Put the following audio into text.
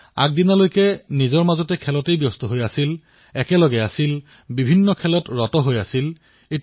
যিটো শিশুৱে কালি সকলোৰে সৈতে খেলিছিল সকলোৰে সৈতে আছিল খেলত মগ্ন হৈ পৰিছিল এতিয়া তেওঁ দূৰেদূৰে থাকিবলৈ ললে